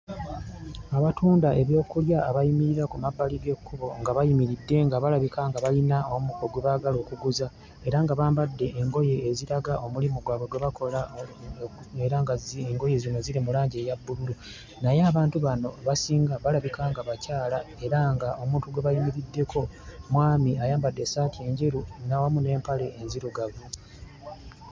Abatunda ebyokulya abayimirira ku mabbali g'ekkubo nga bayimiridde nga balabika nga bayina omu gwe baagala okuguza era nga bambadde engoye eziraga omulimo gwabwe gwe bakola era ng'engoye zino ziri mu langi eya bbululu. Naye abantu bano abasinga balabika nga bakyala era ng'omuntu gwe bayimiriddeko mwami ayambadde essaati njeru awamu n'empale enzirugavu.